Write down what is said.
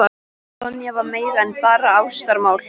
Sonja var meira en bara ástarmál.